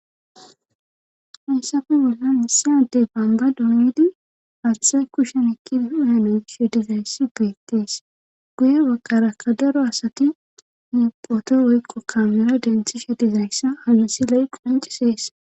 Hessafu bollan misadey bamba doondi haththay kushen ekki hu hanoyshe dizayssi beettees guye wakarakka daro asati nuphoto woykqo kaamera denthi she dizayssa hamisi ley qoncisees.